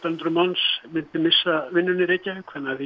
hundruð manns myndu missa vinnuna í Reykjavík þannig að